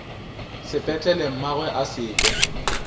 sepetlele mmagwe a se kwe